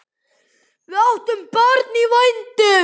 Við áttum barn í vændum.